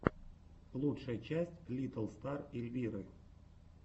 лучшая часть литтл стар эльвиры